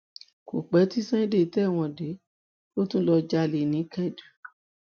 kò pẹ tí sunday tẹwọn dé ló tún lọọ jalè ní kẹdù